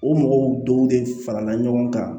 O mɔgɔw dɔw de farala ɲɔgɔn kan